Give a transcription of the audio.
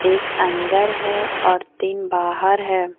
एक अंदर है और तीन बाहर है।